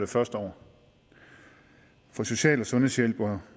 første år for social og sundhedshjælpere